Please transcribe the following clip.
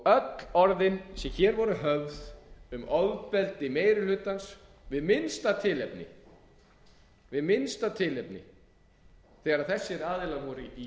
öll orðin sem hér voru höfð um ofbeldi meiri hlutans við minnsta tilefni þegar þessir aðilar voru í